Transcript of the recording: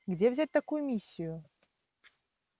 где взять такую миссию